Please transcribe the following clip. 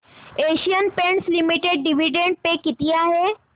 Asian Paints limited dividend pay किती आहे